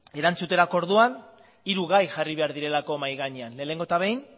erantzuterako orduan hiru gai jarri behar direlako mahai gainean lehenengo eta behin